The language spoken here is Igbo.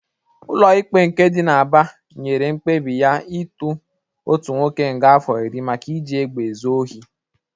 Ụlọ ikpe nke dị n'Aba nyere mkpebi ya ịtụ otu nwoke nga afọ iri maka iji egbe ezu ohi.